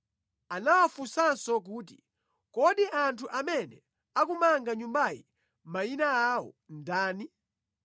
Anawafunsanso kuti, “Kodi anthu amene akumanga nyumbayi mayina awo ndani?”